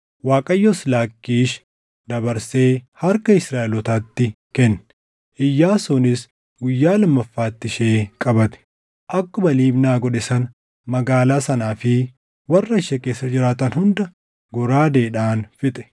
Waaqayyos Laakkiish dabarsee harka Israaʼelootaatti kenne; Iyyaasuunis guyyaa lammaffaatti ishee qabate. Akkuma Libnaa godhe sana magaalaa sanaa fi warra ishee keessa jiraatan hunda goraadeedhaan fixe.